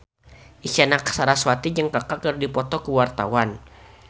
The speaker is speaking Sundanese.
Isyana Sarasvati jeung Kaka keur dipoto ku wartawan